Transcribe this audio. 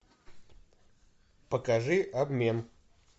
покажи обмен